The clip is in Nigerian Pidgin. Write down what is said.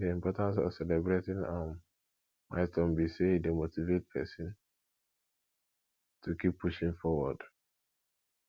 di importance of celebrating um milestone be say e dey motivate pesin to keep pushing forward